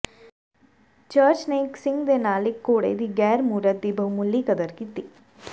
church ਨੇ ਇਕ ਸਿੰਗ ਦੇ ਨਾਲ ਇਕ ਘੋੜੇ ਦੀ ਗ਼ੈਰ ਮੂਰਤ ਦੀ ਬਹੁਮੁੱਲੀ ਕਦਰ ਕੀਤੀ